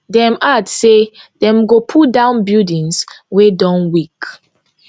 dem add say dem go pull down buildings wey don weak